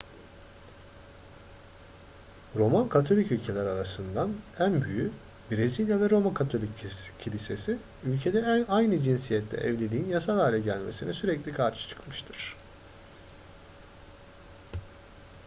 roman katolik ülkeler arasından en büyüğü brezilya ve roma katolik kilisesi ülkede aynı cinsiyetle evliliğin yasal hale gelmesine sürekli karşı çıkmıştır